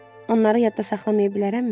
Onları yadda saxlaya bilərəmmi?